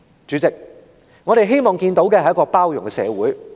"主席，我們希望看到的，是一個包容的社會。